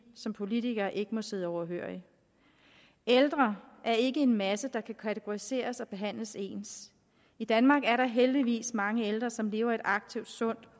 som politikere ikke må sidde overhørig ældre er ikke en masse der kan kategoriseres og behandles ens i danmark er der heldigvis mange ældre som lever et aktivt sundt